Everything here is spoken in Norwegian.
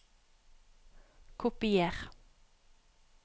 Kopier